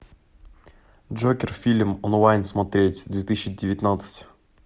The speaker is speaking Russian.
джокер фильм онлайн смотреть две тысячи девятнадцать